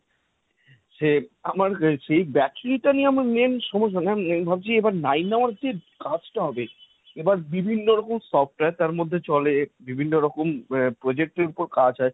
সে আমার সেই battery টা নিয়ে আমার main সমস্যা। কারণ আমি ভাবছি, nine hours যে কাজটা হবে এবার বিভিন্ন রকম software তার মধ্যে চলে, বিভিন্ন রকম আহ project এর ওপর কাজ হয়।